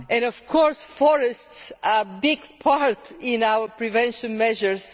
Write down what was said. Of course, forests are a big part in our prevention measures.